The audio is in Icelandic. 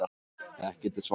Ekkert er svart.